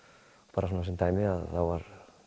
bara svona sem dæmi þá var